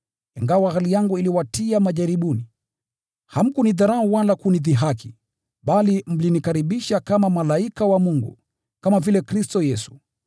Ingawa hali yangu iliwatia majaribuni, hamkunidharau wala kunidhihaki, bali mlinikaribisha kama malaika wa Mungu, kama vile Kristo Yesu.